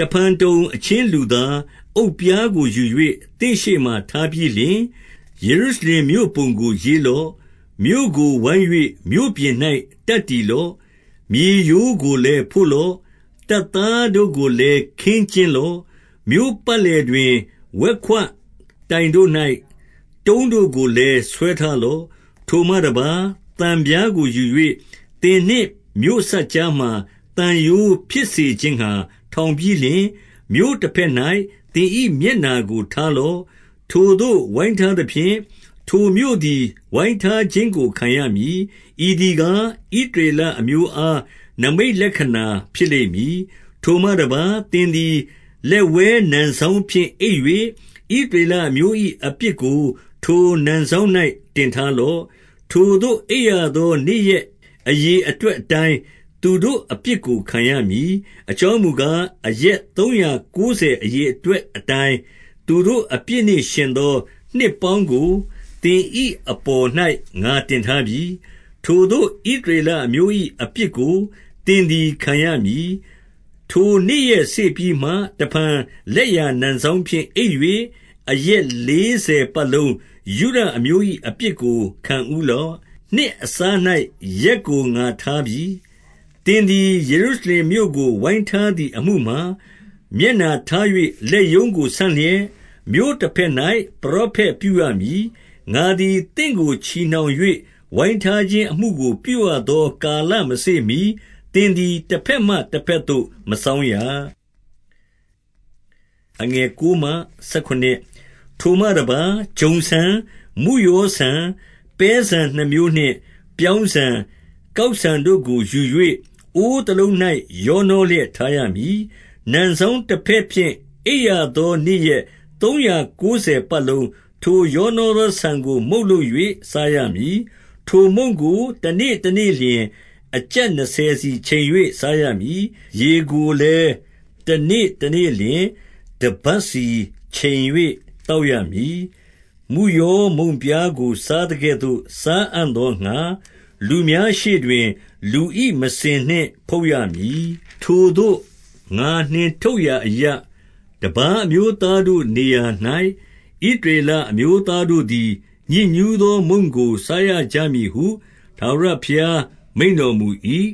တဖန်တုံ၊ အချင်းလူသား၊ အုတ်ပြားကိုယူ၍ သင့်ရှေ့မှာ ထားပြီးလျှင်၊ ယေရုရှလင်မြို့ပုံကို ရေးလော့။ 2 မြို့ကိုဝိုင်း၍မြို့ပြင်၌ တပ်တည်လော့။ မြေရိုး ကိုလည်းဖို့လော့။ တပ်သားတို့ကိုလည်းခင်းကျင်းလော့။ မြို့ပတ်လည်တွင် ဝက်ခွတိုင်တို့၌ တုံးတို့ကိုလည်း ဆွထားလော့။ 3 ထိုမှတပါး၊ သံပြားကိုယူ၍၊ သင်နှင့်မြို့စပ်ကြား မှာ သံရိုးဖြစ်စေခြင်းငှါ ထောင်ပြီးလျှင်၊ မြို့တဘက်၌ သင်၏မျက်နှာကိုထားလော့။ ထိုသို့ ဝိုင်းထားသဖြင့်၊ ထိုမြို့သည်ဝိုင်းထားခြင်းကို ခံရမည်။ ဤသည်ကား ဣသရေလအမျိုးအား နိမိတ်လက္ခဏာဖြစ်လိမ့်မည်။ 4 ထိုမှတပါး၊ သင်သည် လက်ဝဲနံစောင်းဖြင့် အိပ် ၍၊ ဣသရေလအမျိုး၏အပြစ်ကို ထိုနံစောင်း၌ တင်ထား လော့။ ထိုသို့အိပ်ရသော နေ့ရက်အရေအတွက်အတိုင်း သူတို့အပြစ်ကို ခံရမည်။ 5 အကြောင်းမူကား၊ အရက်သုံးရာကိုးဆယ် အရေအတွက်အတိုင်း၊ သူတို့အပြစ်နှင့်ယှဉ်သော နှစ်ပေါင်းကိုသင်၏အပေါ်၌ ငါတင်ထားပြီ။ ထိုသို့ ဣသရေလအမျိုး၏ အပြစ်ကို သင်သည် ခံရမည်။ 6 ထိုနေ့ရက်စေ့ပြီးမှ၊ တဖန်လက်ျာနံစောင်းဖြင့် အိပ်၍၊ အရက်လေးဆယ်ပတ်လုံးယုဒအမျိုး၏ အပြစ်ကို ခံဦးလော့။ နှစ်အစား၌ ရက်ကို ငါထားပြီ။ 7 သင်သည် ယေရုရှလင်မြို့ကို ဝိုင်းထားသည် အမှုမှာ၊ မျက်နှာထား၍ လက်ရုံးကိုဆန့်လျက်၊ မြို့တဘက် ၌ ပရောဖက်ပြုရမည်။ 8 ငါသည် သင့်ကိုချည်နှောင်၍ ဝိုင်းထားခြင်းအမှု ကို ပြုရသော ကာလမစေ့မှီ၊ သင်သည် တဘက်မှ တဘက်သို့ မစောင်းရ။ 9 ထိုမှတပါး၊ ဂျုံဆန်၊ မုယောဆန်၊ ပဲဆန်နှစ်မျိုးနှင့် ပြောင်းဆန်၊ ကောက်ဆန်တို့ကို ယူ၍ အိုးတလုံး၌ ရောနှောလျက်ထားရမည်။ နံစောင်းတဘက်ဖြင့် အိပ်ရသောနေ့ရက် သုံးရာကိုးဆယ်ပတ်လုံး၊ ထိုရောနှော သောဆန်ကို မုန့်လုပ်၍ စားရမည်။ 10 ထိုမုန့်ကို တနေ့တနေ့လျှင် အကျပ်နှစ်ဆယ်စီ ချိန်၍ စားရမည်။ 11 ရေကိုလည်းတနေ့တနေ့လျှင် တဗတ်စီခြင်၍ သောက်ရမည်။ 12 မုယောမုန့်ပြားကို စားသကဲ့သို့ စားအံ့သောငှါ၊ လူများရှေ့တွင် လူ၏မစင်နှင့်ဖုတ်ရမည်။ 13 ထိုသို့ ငါနှင်ထုတ်ရာအရပ်၊ တပါးအမျိုးသားတို့ နေရာ၌၊ ဣသရေလအမျိုးတို့သည် ညစ်ညူးသောမုန့်ကို စားရကြမည်ဟု ထာဝရဘုရားမိန့်တော်မူ၏။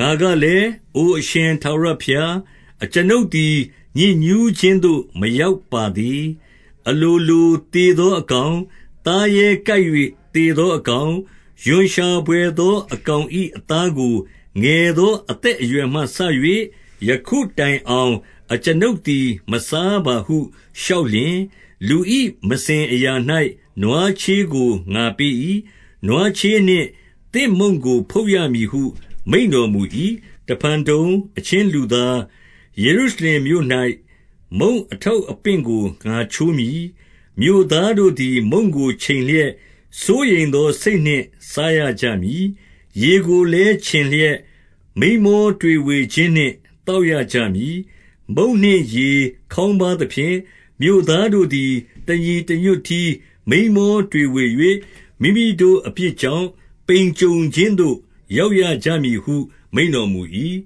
14 ငါကလည်း၊ အိုအရှင်ထာဝရဘုရား၊ အကျွန်ုပ် သည် ညစ်ညူးခြင်းသို့ မရောက်ပါသေး။ အလိုလို သေသောအကောင်၊ သားရဲကိုက်၍ သေသောအကောင်၊ ရွံ့ရှာဘွယ်သောအကောင်၏ အသားကို ငယ်သော အသက်အရွယ်မှစ၍ ယခုတိုင်အောင် အကျွန်ုပ်သည် မစားပါဟု လျှောက်လျှင်၊ 15 လူ၏မစင်အရာ၌ နွားချေးကို ငါပေး၏။ နွားချေးနှင့်သင့်မုန့်ကို ဖုတ်ရမည်ဟု မိန့်တော်မူ၏။ 16 တဖန်တုံ၊ အချင်းလူသား၊ ယေရုရှလင်မြို့၌ မုန့်အထောက်အပင့်ကို ငါချိုးမည်။ မြို့သားတို့သည် မုန့်ကိုချိန်လျက်၊ စိုးရိမ်သော စိတ်နှင့်စားရကြမည်။ ရေကိုလည်း ခြင်လျက်၊ မိန်းမောတွေဝေခြင်းနှင့် သောက် ရကြမည်။ 17 မုန့်နှင့်ရေခေါင်းပါးသဖြင့်၊ မြို့သားတို့သည် တညီတညွတ်တည်း မိန်းမောတွေဝေ၍၊ မိမိတို့အပြစ် ကြောင့် ပိန်ကြုံခြင်းသို့ ရောက်ရကြမည်ဟု မိန့်တော်မူ၏။